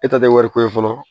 E ta tɛ wari ko ye fɔlɔ